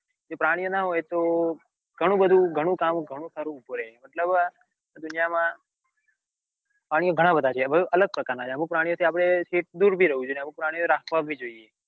કે પ્રાણીઓ ના હોય તો ગણું બધું ગણું કામ ગણું ખરું ઉભું રે મતલબ દુનિયા માં પ્રાણીઓ ઘણા બધા છે અલગ પ્રકાર ના છે અમુક પ્રાણીઓ થી આપડે દૂર ભી રેવું જોઈએ અને અમુક પ્રાણીઓ રાખવા ભી જોઈએ.